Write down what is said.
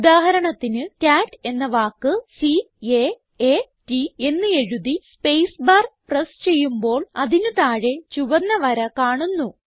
ഉദാഹരണത്തിന് കാട്ട് എന്ന വാക്ക് C A A T എന്ന് എഴുതി സ്പേസ് പ്രസ് ചെയ്യുമ്പോൾ അതിന് താഴെ ചുവന്ന വര കാണുന്നു